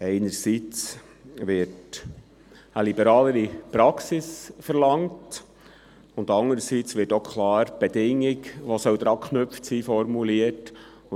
Einerseits wird eine liberalere Praxis verlangt, andererseits wird auch klar die Bedingung formuliert, die daran geknüpft werden soll.